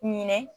Ɲinɛ